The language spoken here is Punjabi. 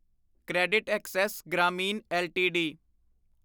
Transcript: CreditAccess Grameen LTD